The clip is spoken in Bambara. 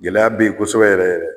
Gɛlɛya be ye kosɛbɛ yɛrɛ yɛrɛ